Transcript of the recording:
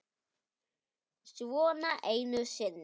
Svona einu sinni.